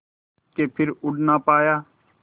के फिर उड़ ना पाया